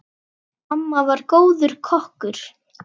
Amma var góður kokkur.